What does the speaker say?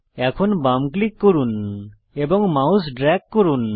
এখন বাম ক্লিক করুন এবং মাউস ড্রেগ করুন